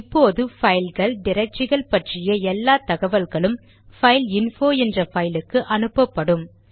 இப்போது பைல்கள் டிரக்டரிகள் பற்றிய எல்லா தகவல்களும் பைல்இன்போ என்ற பைல் க்கு அனுப்பப்படும்